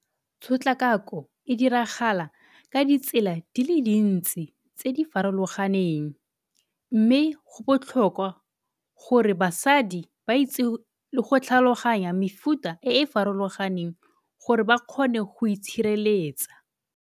Tshotlakako e diragala ka ditsela di le dintsi tse di farologaneng mme go botlhokwa gore basadi ba itse le go tlhaloganya mefuta e e farologaneng gore ba kgone go itshireletsa.